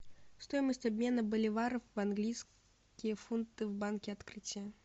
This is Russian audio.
стоимость обмена боливаров в английские фунты в банке открытие